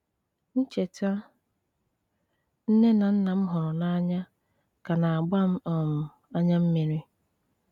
Ncheta nne na nna m hụrụ n'anya ka na-agba m um anya mmiri.